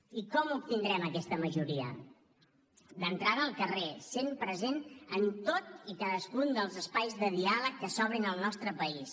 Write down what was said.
i com obtindrem aquesta majoria d’entrada al carrer sent presents en tots i cadascun dels espais de diàleg que s’obrin al nostre país